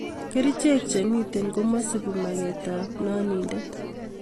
Kerichek chemitei komesupi maketab nandindet